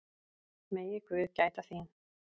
Megi guð gæta þín.